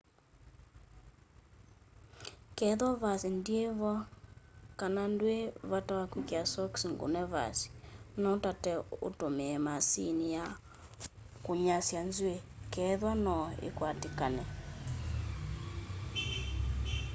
kethwa vasi ndivo kana ndwi vata na kwikia sokisi ngune vasi no utate utumia maasini ya kunyasya nzwii kethwaa no ikwatikane